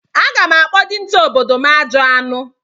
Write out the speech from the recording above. Aga m akpọ onye dinta obodo m "Ajọ anụ"